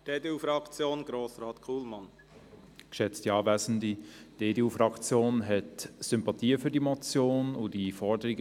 Die EDU-Fraktion hat Sympathien für diese Motion und ihre Forderungen.